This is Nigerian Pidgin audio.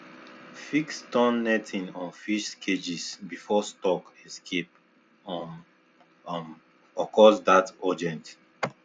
fix torn netting on fish cages before stock escape um um occurs that urgent